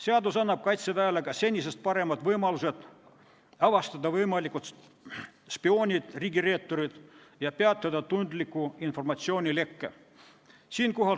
Seadus annab Kaitseväele ka senisest paremad võimalused avastada võimalikud spioonid ja riigireeturid ning peatada tundliku informatsiooni leke.